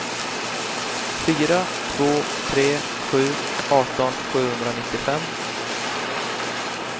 fyra två tre sju arton sjuhundranittiofem